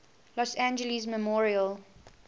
los angeles memorial